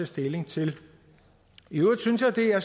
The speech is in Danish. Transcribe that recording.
stilling til i øvrigt synes jeg det er